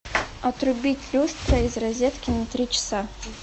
отрубить люстра из розетки на три часа